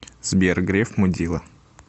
сбер греф мудила